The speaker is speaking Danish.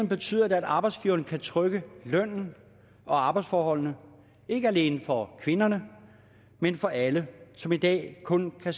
betyder det at arbejdsgiveren kan trykke lønnen og arbejdsforholdene ikke alene for kvinderne men for alle som i dag kun har